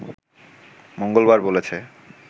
মঙ্গলবার বলেছে